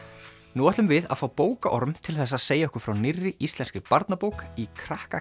nú ætlum við að fá bókaorm til þess að segja okkur frá nýrri íslenskri barnabók í krakka